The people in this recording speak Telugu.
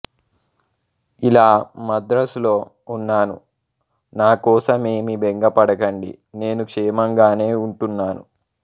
ఇలా మద్రాసులో ఉన్నాను నాకోసమేమీ బెంగపడకండి నేను క్షేమంగానే ఉంటున్నాను